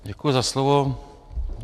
Děkuji za slovo.